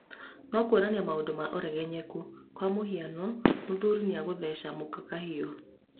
Na kuonania maũndũ ma ũregenyũku kwa mũhiano mũthuri nĩagũtheca mũka kahiũ